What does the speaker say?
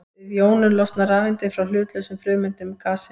Við jónun losna rafeindir frá hlutlausum frumeindum gassins.